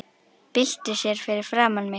Byltir sér fyrir framan mig.